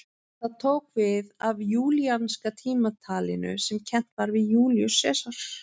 Það tók við af júlíanska tímatalinu sem kennt var við Júlíus Sesar.